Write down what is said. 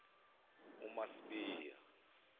umasibiya